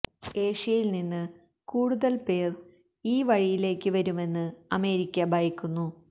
ഏഷ്യയില് നിന്ന് കൂടുതല് പേര് ഈ വഴിയിലേക്ക് വരുമെന്ന് അമേരിക്ക ഭയക്കുന്നു